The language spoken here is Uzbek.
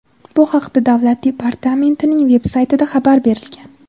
Bu haqda Davlat departamentining veb-saytida xabar berilgan.